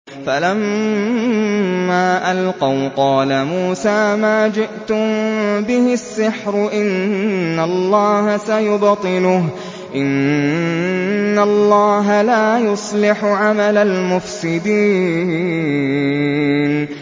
فَلَمَّا أَلْقَوْا قَالَ مُوسَىٰ مَا جِئْتُم بِهِ السِّحْرُ ۖ إِنَّ اللَّهَ سَيُبْطِلُهُ ۖ إِنَّ اللَّهَ لَا يُصْلِحُ عَمَلَ الْمُفْسِدِينَ